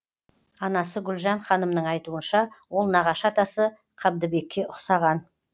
анасы гүлжан ханымның айтуынша ол нағашы атасы қабдыбекке ұқсаған